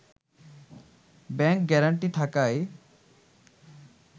bank guarantee থাকায়